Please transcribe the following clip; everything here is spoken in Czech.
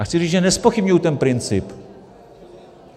A chci říct, že nezpochybňuji ten princip.